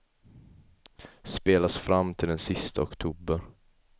Spelas fram till den sista oktober.